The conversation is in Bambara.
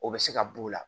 O bɛ se ka b'o la